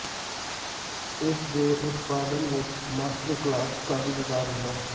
ਇਸ ਦੇ ਉਤਪਾਦਨ ਵਿੱਚ ਮਾਸਟਰ ਕਲਾਸ ਕਾਫ਼ੀ ਸਧਾਰਨ ਹੈ